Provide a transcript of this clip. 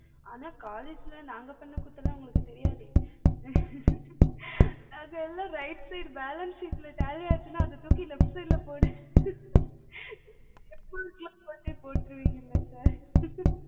ஆனா college ல நாங்க பண்ண கூத்துலாம் உங்களுக்கு தெரியாது அது எல்லாம் right side balance sheet ல tally ஆச்சுன்னா அத தூக்கி left side ல போடு step mark லாம் நீங்க போட்ருவீங்கள்ள sir